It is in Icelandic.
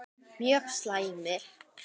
Mjög slæmir